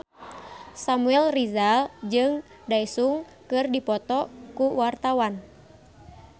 Samuel Rizal jeung Daesung keur dipoto ku wartawan